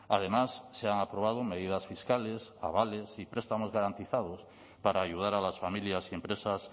además se han aprobado medidas fiscales avales y prestamos garantizados para ayudar a las familias y empresas